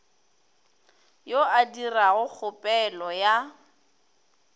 yo a dirago kgopelo ya